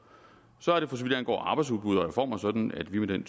så er det for så vidt angår arbejdsudbud og reformer sådan at vi med den